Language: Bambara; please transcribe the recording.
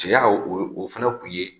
Cɛya la o fana tun ye